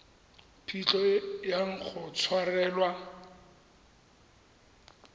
phitlho e yang go tshwarelwa